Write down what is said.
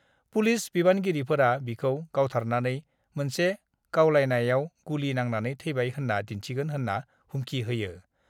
Police बिबानगिरिफोरा बिखौ गावथारनानै मोनसे गावलायनायाव गुलि नांनानै थैबाय होन्‍ना दिन्थिगोन होनना हुमखि होयो।